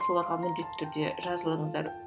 соларға міндетті түрде жазылыңыздар